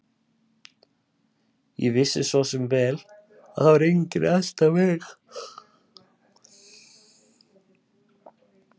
Ég vissi svo sem vel að það var enginn að elta mig.